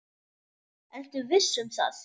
Ertu viss um það?